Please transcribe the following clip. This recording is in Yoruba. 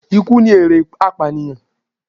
Ikú ni èrè apànìyàn.